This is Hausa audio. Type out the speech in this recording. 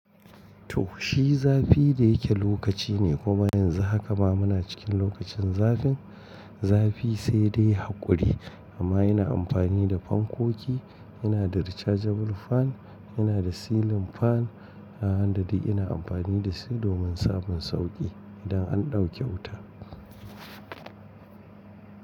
To shi zafi da yake lokaci ne kuma yanzu haka ma muna cikin lokacin zafin zafi sai dai haƙuri amma ina amfani da fankoki. Ina da rechargeable fan, ina da ceiling fan, da wanda dai ina amfani da su domin samun sauƙi idan an ɗauke wuta.